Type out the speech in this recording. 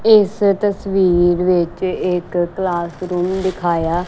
ਇਸ ਤਸਵੀਰ ਵਿੱਚ ਇੱਕ ਕਲਾਸ ਰੂਮ ਦਿਖਾਇਆ --